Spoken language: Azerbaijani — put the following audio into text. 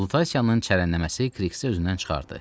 Lutasiyanın çərənləməsi Kikisi özündən çıxartdı.